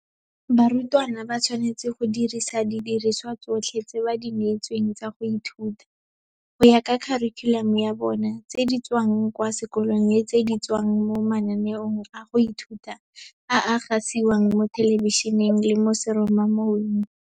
Barutwana ba tshwanetse go dirisa didirisiwa tsotlhe tse ba di neetsweng tsa go ithuta, go ya ka kharikhulamo ya bona, tse di tswang kwa sekolong le tse di tswang mo mananeong a go ithuta a a gasiwang mo thelebišeneng le mo seromamoweng.